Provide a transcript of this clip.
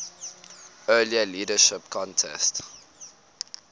earlier leadership contest